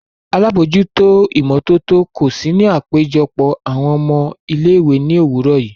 Alabojuto imototo ko si ni apejọpọ awọn ọmọ ile-iwe ni owurọ yii.